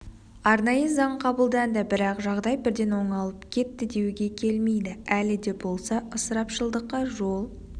арнайы заң қабылданды бірақ жағдай бірден оңалып кетті деуге келмейді әлі де болса ысырапшылдыққа жол